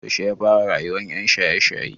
Yaushe yafara rayuwan yan shaye shaye?